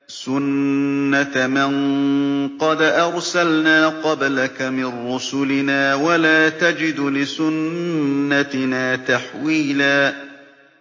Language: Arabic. سُنَّةَ مَن قَدْ أَرْسَلْنَا قَبْلَكَ مِن رُّسُلِنَا ۖ وَلَا تَجِدُ لِسُنَّتِنَا تَحْوِيلًا